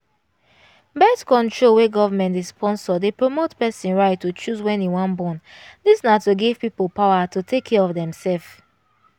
birth-control wey government dey sponsor dey promote person right to choose wen im wan bornthis na to give people power to take care of demself